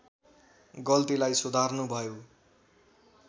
गल्तीलाई सुधार्नु भयो